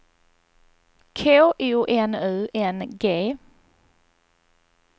K O N U N G